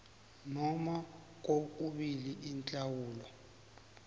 noma kokubili inhlawulo